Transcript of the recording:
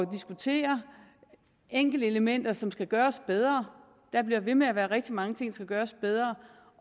at diskutere enkeltelementer som skal gøres bedre der bliver ved med at være rigtig mange ting som skal gøres bedre